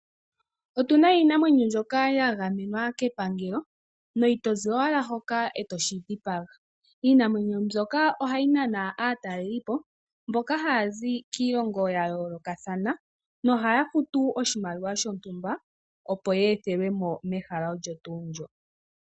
Otu na iinamwenyo mbyoka ya gamenwa kepangelo no ito zi owala hoka e to shi dhipaga. Iinamwenyo mbyoka ohayi nana aatalelipo mboka haya zi kiilongo ya yoolokathana nohaya futu oshimaliwa shontumba, opo ye ethelwe mo mehala olyo tuu ndyo.